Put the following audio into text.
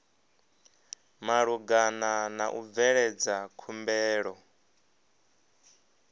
malugana na u bveledza khumbelo